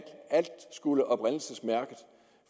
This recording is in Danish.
alt skulle oprindelsesmærkes